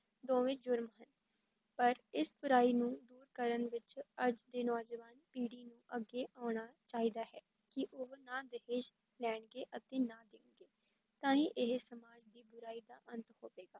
ਦੋਵੇਂ ਜ਼ੁਰਮ ਹੈ, ਪਰ ਇਸ ਬੁਰਾਈ ਨੂੰ ਦੂਰ ਕਰਨ ਵਿਚ ਅੱਜ ਦੇ ਨੌਜਵਾਨ ਪੀੜੀ ਨੂੰ ਅੱਗੇ ਆਉਣਾ ਚਾਹੀਦਾ ਹੈ ਕਿ ਉਹ ਨਾ ਦਹੇਜ ਲੈਣਗੇ ਅਤੇ ਨਾ ਦੇਣਗੇ, ਤਾਂ ਹੀ ਇਹ ਸਮਾਜ ਦੀ ਬੁਰਾਈ ਦਾ ਅੰਤ ਹੋਵੇਗਾ।